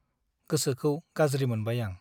गोसोखौ गाज्रि मोनबाय आं ।